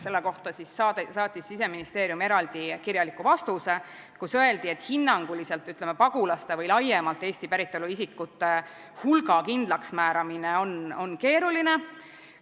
Selle kohta saatis Siseministeerium eraldi kirjaliku vastuse, kus öeldi, et hinnanguliselt on pagulaste või laiemalt Eesti päritolu isikute hulga kindlaksmääramine keeruline.